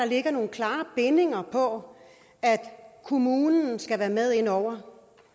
ligger nogle klare bindinger på at kommunen skal være med inde over